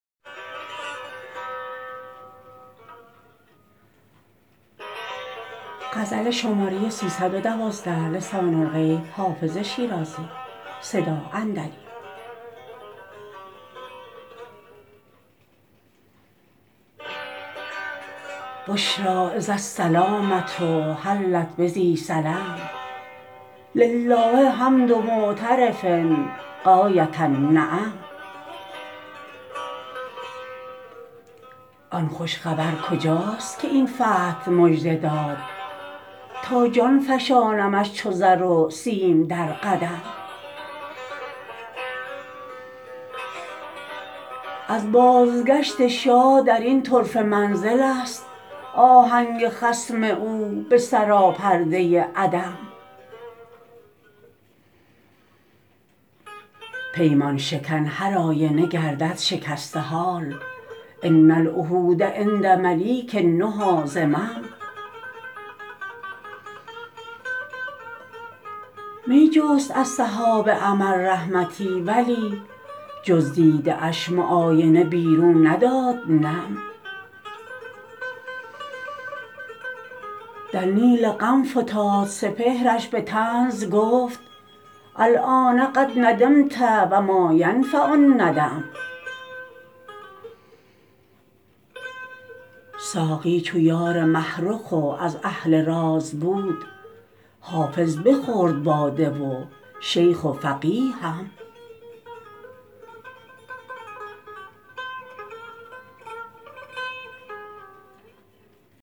بشری اذ السلامة حلت بذی سلم لله حمد معترف غایة النعم آن خوش خبر کجاست که این فتح مژده داد تا جان فشانمش چو زر و سیم در قدم از بازگشت شاه در این طرفه منزل است آهنگ خصم او به سراپرده عدم پیمان شکن هرآینه گردد شکسته حال ان العهود عند ملیک النهی ذمم می جست از سحاب امل رحمتی ولی جز دیده اش معاینه بیرون نداد نم در نیل غم فتاد سپهرش به طنز گفت الآن قد ندمت و ما ینفع الندم ساقی چو یار مه رخ و از اهل راز بود حافظ بخورد باده و شیخ و فقیه هم